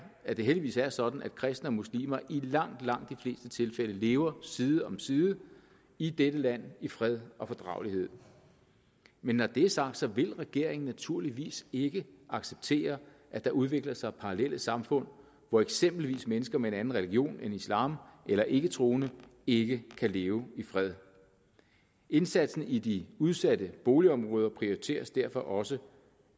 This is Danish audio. at det heldigvis er sådan at kristne og muslimer i langt langt de fleste tilfælde lever side om side i dette land i fred og fordragelighed men når det er sagt vil regeringen naturligvis ikke acceptere at der udvikler sig parallelle samfund hvor eksempelvis mennesker med en anden religion end islam eller ikketroende ikke kan leve i fred indsatsen i de udsatte boligområder prioriteres derfor også